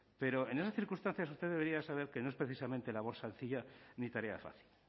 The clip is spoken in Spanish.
pero en esas circunstancias usted debería saber que no es precisamente labor sencilla ni tarea fácil